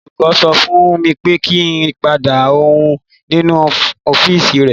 Olùkọ́ sọ fún mi pé kí n pàdé òun nínú ọ́fíìsì rẹ̀.